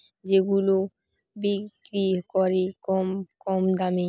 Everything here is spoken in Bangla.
যেগুলো বিক্রি করে কম কম দামে।